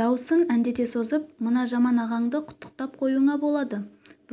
дауысын әндете созып мына жаман ағаңды құттықтап қоюыңа болады